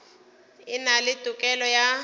e na le tokelo ya